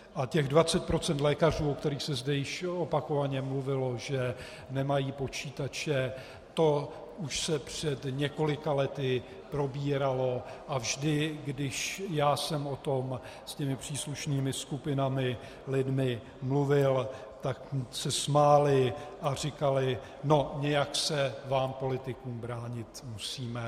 A těch 20 % lékařů, o kterých se zde již opakovaně mluvilo, že nemají počítače, to už se před několika lety probíralo a vždy, když já jsem o tom s těmi příslušnými skupinami, lidmi mluvil, tak se smáli a říkali: No, nějak se vám politikům bránit musíme.